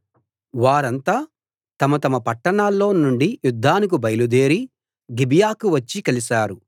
వారంతా తమ తమ పట్టణాల్లో నుండి యుద్ధానికి బయల్దేరి గిబియాకు వచ్చి కలిశారు